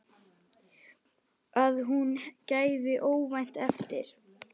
Að hún gefi óvænt eftir.